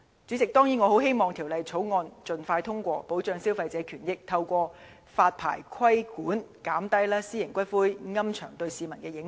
主席，我當然很希望《條例草案》盡快獲得通過，以保障消費者權益，並透過發牌規管，減低私營龕場對市民的影響。